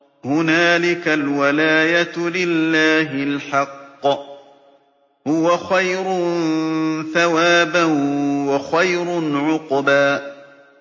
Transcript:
هُنَالِكَ الْوَلَايَةُ لِلَّهِ الْحَقِّ ۚ هُوَ خَيْرٌ ثَوَابًا وَخَيْرٌ عُقْبًا